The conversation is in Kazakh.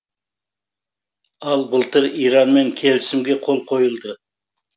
ал былтыр иранмен келісімге қол қойылды